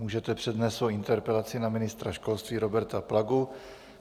Můžete přednést svoji interpelaci na ministra školství Roberta Plagu.